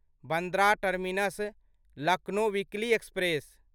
Bandra terminus Lucknow weekly express